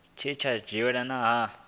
tsha tea u dzhielwa nha